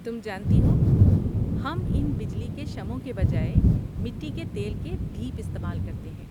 تم جانتی ہو، ہم ان بجلی کے شمعوں کے بجائے مٹی کے تیل کے دیپ استعمال کرتے ہیں۔